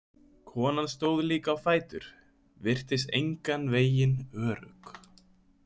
Konan stóð líka á fætur, virtist engan veginn örugg.